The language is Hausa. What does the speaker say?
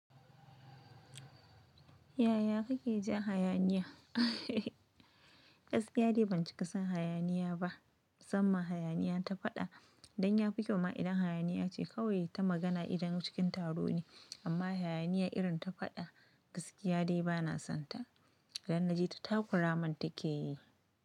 Yaya kake ja hayaniya? Gaskiya dai ban cika son hayaniya ba, masamman hayaniya ta faɗa. Dan ya fi kyau ma idan hayaniya ce kawai ta magana idan cikin taro ne, amma hayaniya irin ta faɗa gaskiya dai bana sonta. Dan na ji ta takura man take yi.